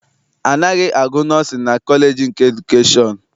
A naghị agụ nọọsịn na kọleji nke edukeshọn.